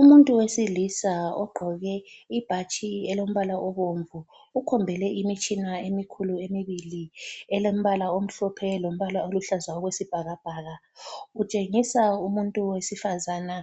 Umuntu wesilisa ogqoke ibhatshi elombala obomvu ukhombele imitshina emikhulu emibili elombala omhlophe lombala oluhlaza okwesibhakabhaka utshengisa umuntu wesifazana